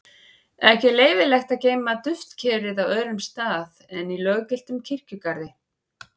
ekki er leyfilegt að geyma duftkerið á öðrum stað en í löggiltum kirkjugarði